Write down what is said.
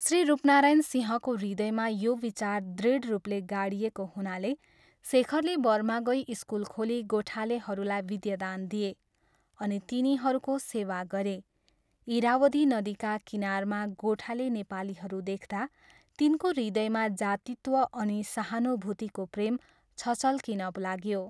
श्री रूपनारायण सिंहको हृदयमा यो विचार दृढ रूपले गाडिएको हुनाले शेखरले बर्मा गई स्कुल खोली गोठालेहरूलाई विद्यादान दिए अनि तिनीहरूको सेवा गरे, इरावदी नदीका किनारमा गोठाले नेपालीहरू देख्दा तिनको हृदयमा जातित्व अनि सहानुभूतिको प्रेम छचल्किन लाग्यो।